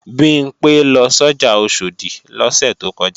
Bimpé lọ sọ́jà Oṣòdì lọ́sẹ̀ tó kọjá